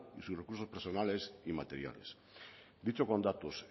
y sus recursos personales y materiales dicho con datos